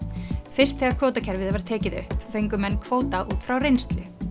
fyrst þegar kvótakerfið var tekið upp fengu menn kvóta út frá reynslu